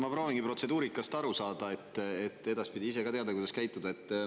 Ma proovingi protseduurikast aru saada, et edaspidi ise ka teada, kuidas käituda.